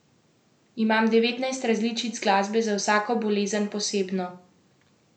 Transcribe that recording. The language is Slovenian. Imam devetnajst različic glasbe, za vsako bolezen posebno.